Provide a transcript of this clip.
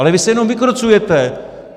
Ale vy se jen vykrucujete.